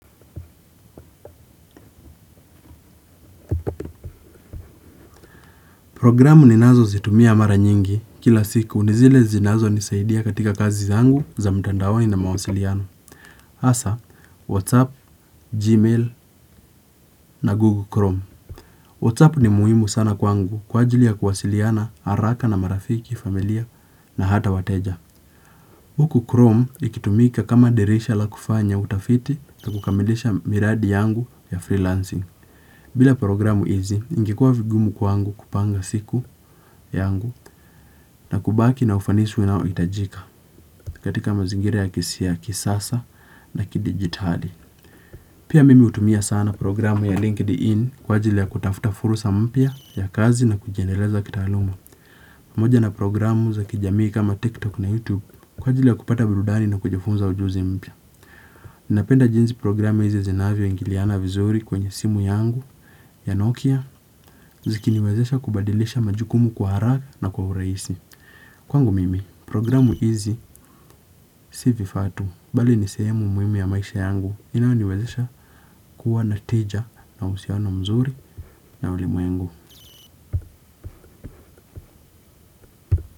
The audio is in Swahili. Programu ninazo zitumia mara nyingi kila siku nizile zinazo nisaidia katika kazi zangu za mtandaoni na mawasiliano. Hasa, Whatsapp, Gmail na Google Chrome. Whatsapp ni muhimu sana kwangu kwa ajili ya kuwasiliana, haraka na marafiki, familia na hata wateja. Huku Chrome ikitumika kama dirisha la kufanya utafiti na kukamilisha miradi yangu ya freelancing. Bila programu hizi, ingekuwa vigumu kwangu kupanga siku yangu. Na kubaki na ufanisi unaohitajika katika mazingira ya kisasa na kidigitali. Pia mimi hutumia sana programu ya LinkedIn kwa ajili ya kutafuta fursa mpya ya kazi na kujiendeleza kitaaluma. Pamoja na programu za kijamii kama TikTok na YouTube kwa ajili ya kupata burudani na kujifunza ujuzi mpya. Ninapenda jinsi programu hizi zinavyo ingiliana vizuri kwenye simu yangu ya Nokia. Zikiniwezesha kubadilisha majukumu kwa haraka na kwa urahisi. Kwangu mimi, programu hizi si vifaa tu, bali ni sehemu muhimu ya maisha yangu inayoniwezesha kuwa na tija na uhusiano mzuri na ulimwengu.